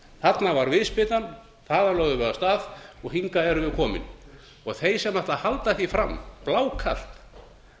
þarna var viðspyrnan þaðan lögðum við af stað og hingað erum við komin þeir sem ætla að halda því fram blákalt